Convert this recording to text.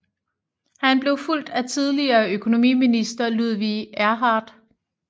Han blev fulgt af tidligere økonomiminister Ludwig Erhard